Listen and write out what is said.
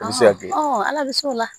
ala bɛ se o la